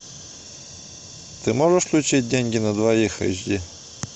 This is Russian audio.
ты можешь включить деньги на двоих эйч ди